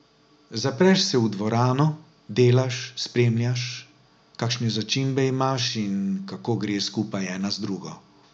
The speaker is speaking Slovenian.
Zapreš se v dvorano, delaš, spremljaš, kakšne začimbe imaš in kako gre skupaj ena z drugo.